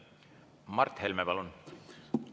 Mart Helme, palun!